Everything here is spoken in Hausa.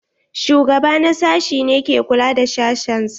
Shugaba na sashi ne ke kula da sashen sa.